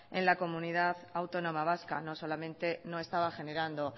en la comunidad autónoma vasca no solamente no estaba generando